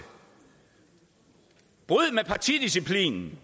bryd med partidisciplinen